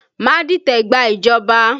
Má dìtẹ̀ gba ìjọba!